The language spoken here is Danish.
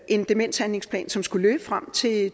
en demenshandlingsplan som skulle løbe frem til